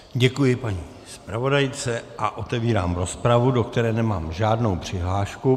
Děkuji paní zpravodajce a otevírám rozpravu, do které nemám žádnou přihlášku.